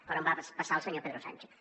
però va passar al senyor pedro sánchez